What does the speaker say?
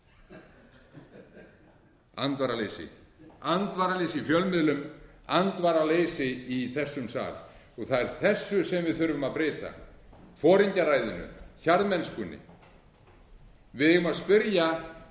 þreyttur andvaraleysi andvaraleysi í fjölmiðlum andvaraleysi í þessum sal það er þessu sem við þurfum að breyta foringjaræðinu hjarðmennskunni við eigum að spyrja